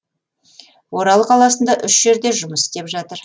орал қаласында үш жерде жұмыс істеп жатыр